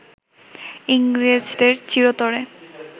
ইংরেজদের চিরতরে